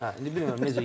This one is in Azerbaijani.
Hə, indi bilmirəm necə.